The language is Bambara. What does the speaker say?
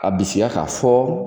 Ka bisiya k'a fɔ